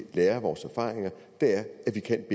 lære af vores erfaringer er at vi kan